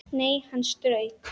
Nei, hann strauk